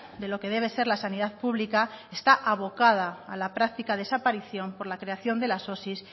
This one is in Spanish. de lo que debe ser la sanidad pública está abocada a la práctica desaparición por la creación de las osi